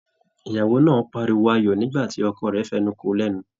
Ìyàwó náà páríwó ayọ̀ nígbàtí ọkọ rẹ fẹnu kò lẹnu.